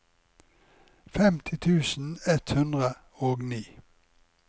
femti tusen ett hundre og ni